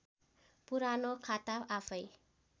पुरानो खाता आफैँ